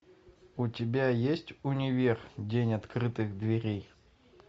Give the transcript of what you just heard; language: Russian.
у тебя есть универ день открытых дверей